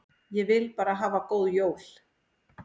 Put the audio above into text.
Ég vil bara hafa góð jól.